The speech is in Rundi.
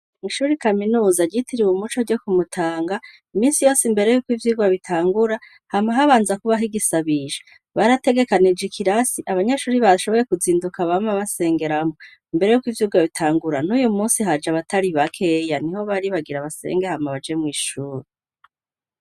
ishuri kaminuza ryitiriwe umuco ryo kumutanga iminsi yose mbere yuko ivyigwa bitangura hama habanza kubaho igisabisho barategekanije ikirasi abanyeshuri bashoboye kuzinduka bama basengeramwo imbere yuko ivyigwa bitangura n'uyu munsi haje abatari bakeya niho bari bagira basenge hama baje mwishure